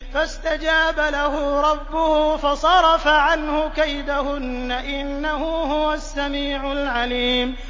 فَاسْتَجَابَ لَهُ رَبُّهُ فَصَرَفَ عَنْهُ كَيْدَهُنَّ ۚ إِنَّهُ هُوَ السَّمِيعُ الْعَلِيمُ